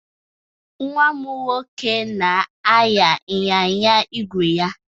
Nwa m nwoke na-anya ịnyịnya ígwè ya.